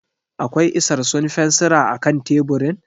Akwai isarsun fensira a kan teburin?